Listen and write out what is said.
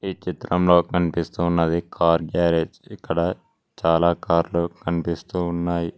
ఈ చిత్రంలో కనిపిస్తు ఉన్నది కార్ గ్యారేజ్ ఇక్కడ చాలా కారులో కనిపిస్తూ ఉన్నాయి.